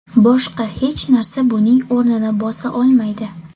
Boshqa hech narsa buning o‘rnini bosa olmaydi.